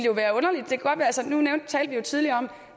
talte tidligere om